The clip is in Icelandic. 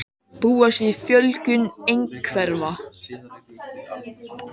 Búast við fjölgun einhverfra